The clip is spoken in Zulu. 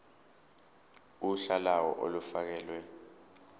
uhla lawo olufakelwe